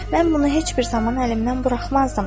Mən bunu heç bir zaman əlimdən buraxmazdım.